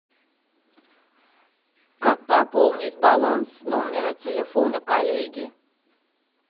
как пополнить баланс номера телефона коллеги